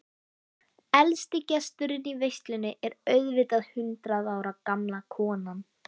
Elsti gesturinn í veislunni er auðvitað hundrað ára gamla konan.